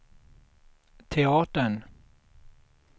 teatern